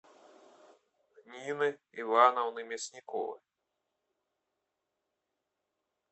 нины ивановны мясниковой